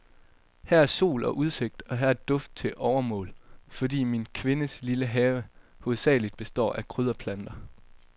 Her er sol og udsigt, og her er duft til overmål, fordi min kvindes lille have hovedsagelig består af krydderplanter.